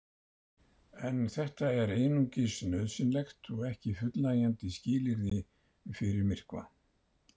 En þetta er einungis nauðsynlegt og ekki fullnægjandi skilyrði fyrir myrkva.